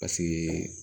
Paseke